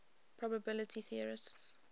probability theorists